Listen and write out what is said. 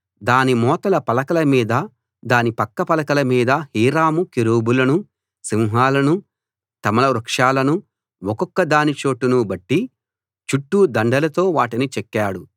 దాని మోతల పలకల మీదా దాని పక్క పలకల మీదా హీరాము కెరూబులనూ సింహాలనూ తమాల వృక్షాలనూ ఒక్కొక్కదాని చోటును బట్టి చుట్టూ దండలతో వాటిని చెక్కాడు